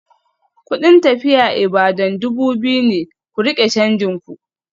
Kudin tafiya Ibadan dubu biyu ne, ku rike canjin ku.